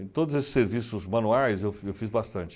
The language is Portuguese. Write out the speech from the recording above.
Em todos esses serviços manuais, eu eu fiz bastante.